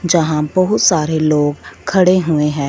जहां बहुत सारे लोग खड़े हुए हैं।